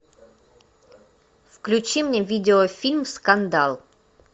включи мне видеофильм скандал